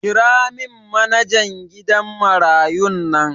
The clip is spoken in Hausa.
Kiramin manajan gidan marayun nan